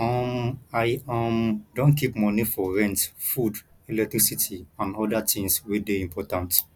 um i um don keep moni for rent food electricity and oda tins wey dey important